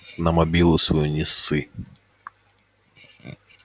на мобилу свою не ссы